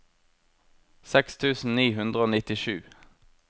seks tusen ni hundre og nittisju